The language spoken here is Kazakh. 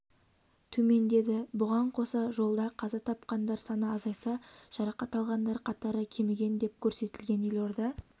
төмендеді бұған қоса жолда қаза тапқандар саны азайса жарақат алғандар қатары кеміген деп көрсетілген елорда